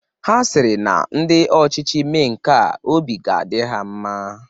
Ha sịrị na ndị ọchịchị mee nka, obi ga-adị ha mma.